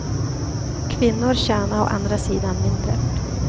Kvinnor tjänar å andra sidan mindre.